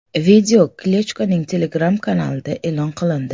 Video Klichkoning Telegram kanalida e’lon qilindi.